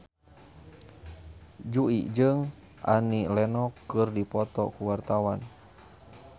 Jui jeung Annie Lenox keur dipoto ku wartawan